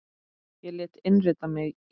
Ég lét innrita mig í